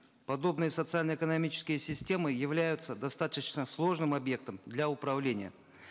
подобные социально экономические системы являются достаточно сложным объектом для управления